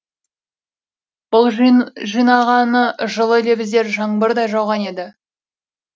бұл жинағаны жылы лебіздер жаңбырдай жауған еді